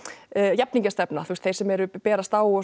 jafningjastefna þeir sem berast á og